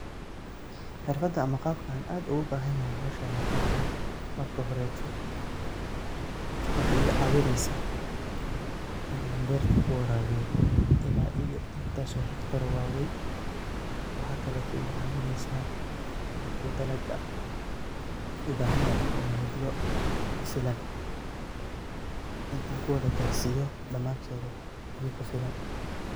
Xirfadan ama qabkan aad ogu bahan yahay howshan waxa waye marka horeto waxay iga caawineysa inan beerta kuraabiyo ila iyo intaas oo hektar oo waweyn waxa kale ooy iga caawineysa marku dalaga ubahan yahay inu helo biyo kufilan, in an kuwada garsiyo dhamaantoda biya kufilan